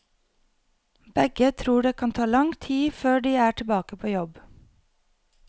Begge tror det kan ta lang tid før de er tilbake på jobb.